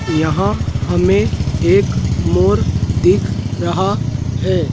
यहां हमें एक मोर दिख रहा है।